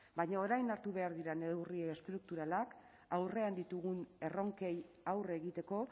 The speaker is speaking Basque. baina orain hartu behar diren neurri estrukturalak aurrean ditugun erronkei aurre egiteko